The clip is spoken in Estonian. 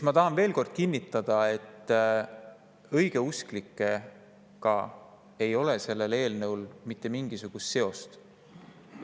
Ma tahan veel kord kinnitada, et õigeusklikega ei ole see eelnõu mitte mingil moel seotud.